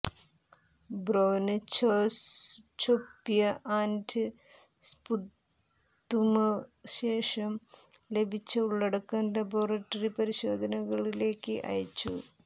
ബ്രൊന്ഛൊസ്ചൊപ്യ് and sputum ശേഷം ലഭിച്ച ഉള്ളടക്കം ലബോറട്ടറി പരിശോധനകൾ ലേക്ക് അയച്ചു